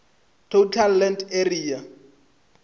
total land area